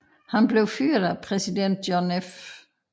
Han blev fyret af præsident John F